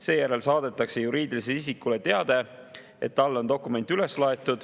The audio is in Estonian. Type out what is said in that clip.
Seejärel saadetakse juriidilisele isikule teade, et talle on dokument üles laaditud.